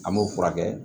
An b'o furakɛ